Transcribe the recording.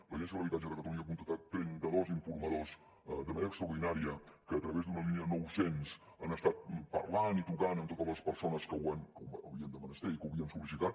l’agència de l’habitatge de catalunya ha contractat trenta dos informadors de manera extraordinària que a través d’una línia nou cents han estat parlant i trucant amb totes les persones que ho havien de menester i que ho havien sol·licitat